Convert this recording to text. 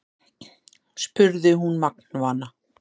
spurði hún magnvana.